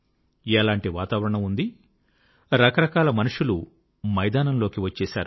ఎలాంటి వాతావరణం ఉంది రకరకాల మనుష్యులు మైదానంలోకి వచ్చేశారు